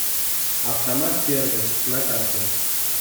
автомат сервис на карте